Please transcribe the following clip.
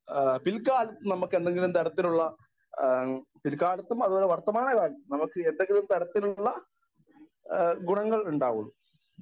Speaker 1 ആ പിൽക്കാലത്തു നമുക്ക് എന്തെങ്കിലും തരത്തിലുള്ള ആ പില്കാലത്തും അതുപോലെ വർത്തമാനകാലത്തും നമുക്ക് എന്തെങ്കിലും തരത്തിലുള്ള ആ ഗുണങ്ങൾ ഉണ്ടാകുവൊള്ളൂ.